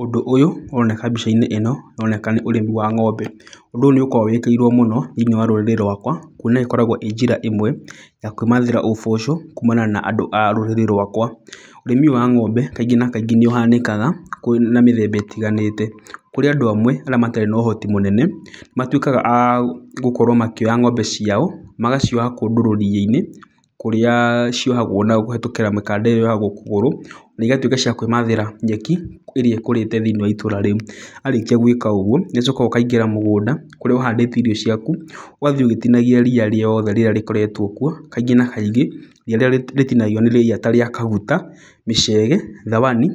Ũndũ ũyũ ũroneka mbica-inĩ ĩno ũroneka nĩ ũrĩmi wa ng'ombe. Ũndũ ũyũ nĩ ũkoragwo wĩkĩrĩirwo mũno thĩiniĩ rũrĩrĩ-inĩ rwakwa kuona ĩkoragwo ĩ njĩra ĩmwe ya kwĩmathĩra ũboco kuumana na andũ a rũrĩrĩ rwakwa. Ũrĩmi ũyũ wa ng'ombe kaingĩ na kaingĩ nĩ ũhanĩkaga na mĩthemba ĩtiganĩte. Kũrĩ andũ amwe arĩa matarĩ na ũhoti mũnene, matuĩkaga a gũkorwo makĩoya ng'ombe ciao magacioha kũndũ rũriĩ-inĩ kũrĩa ciohagwo na kũhĩtũkĩra mĩkanda ĩrĩa yohagwo kũgũrũ. Na igatuĩka cia kwĩmathĩra nyeki ĩrĩa ĩkũrĩte thĩiniĩ wa itũra rĩu. Warĩkia gwĩka ũguo, nĩ ũcokaga ũkaingĩra mũgũnda kũrĩa ũhandĩte irio ciaku, ũgathiĩ ũgĩtinagia ria rĩothe rĩrĩa rĩkoretwo kuo kaingĩ na kaingĩ. Ria rĩrĩa rĩtinagio nĩ ria ta rĩa kaguta, mĩcege, thawani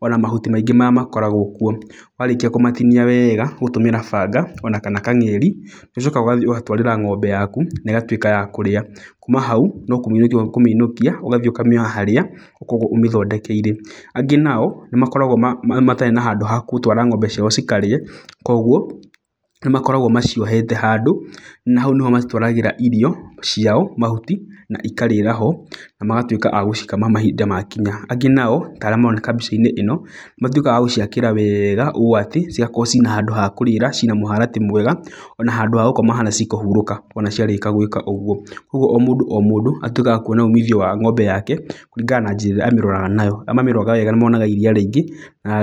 ona mahuti maingĩ marĩa makoragwo kuo. Warĩkia kũmatinia wega gũtũmĩra banga ona kana kangeri, nĩ ũcokaga ũgatwarĩra ng'ombe yaku na ĩgatuĩka ya kũrĩa. Kuma hau, no kũmĩinũkia ũkũmĩinũkia, ũgathiĩ ũkamĩoha harĩa ũkoragwo ũmĩthondekeire. Angĩ nao nĩ makoragwo matarĩ na handũ ha gũtwara ng'ombe ciao cikarĩe, koguo nĩ makoragwo maciohete handũ na hau nĩho macitwaragĩra irio ciao, mahuti, na ikarĩra ho. Na magatuĩka a gũcikama mahinda makinya. Angĩ nao ta arĩa maroneka mbica-inĩ ĩno, matuĩkaga a gũciakĩra wega ũũ atĩ, cigakorwo atĩ cina handũ ha kũrĩra, cina mũharatĩ mwega ona handũ ha gũkoma harĩa cikũhurũka ona ciarĩkia gwĩka ũguo. Ũguo o mũndũ o mũndũ atuĩkaga wa kuona umithio wa ng'ombe yake, kũringana na njĩra ĩrĩa amĩroraga nayo. Arĩa mamĩroraga wega nĩ monaga iria rĩingĩ na...